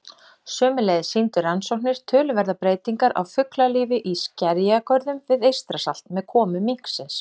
Sömuleiðis sýndu rannsóknir töluverðar breytingar á fuglalífi í skerjagörðum við Eystrasalt með komu minksins.